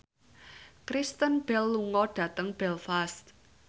Kristen Bell lunga dhateng Belfast